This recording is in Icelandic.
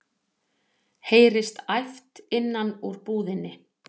heyrist æpt innan úr búðinni.